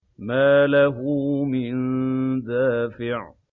مَّا لَهُ مِن دَافِعٍ